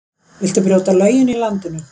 Viltu brjóta lögin í landinu?